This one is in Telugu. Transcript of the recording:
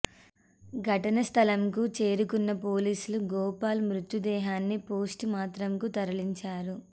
ఘటనా స్థలంకు చేరుకున్న పోలీసులు గోపాల్ మృతదేహాన్ని పోస్టు మార్టంకు తరలించారు